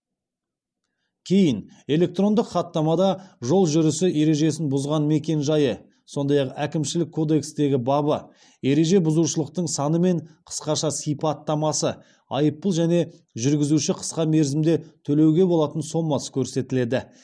кейін электрондық хаттамада жол жүрісі ережесін бұзған мекен жайы сондай ақ әкімшілік кодекстегі бабы ереже бұзушылықтың саны мен қысқаша сипаттамасы айыппұл және жүргізуші қысқа мерзімде төлеуге болатын сомасы көрсетіледі